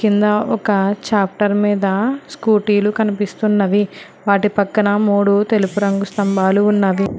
కింద ఒక చాప్టర్ మీద స్కూటీలు కనిపిస్తున్నది వాటి పక్కన మూడు తెలుపు రంగు స్తంభాలు ఉన్నది.